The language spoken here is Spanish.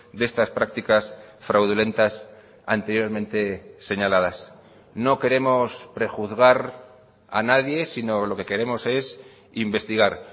de estas prácticas fraudulentas anteriormente señaladas no queremos prejuzgar a nadie sino lo que queremos es investigar